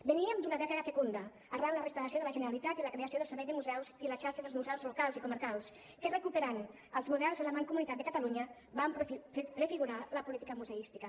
veníem d’una dècada fecunda arran de la reinstauració de la generalitat i la creació del servei de museus i la xarxa dels museus locals i comarcals que recuperant els models de la mancomunitat de catalunya van prefigurar la política museística